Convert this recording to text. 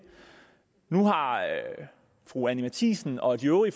nu har fru anni matthiesen og de øvrige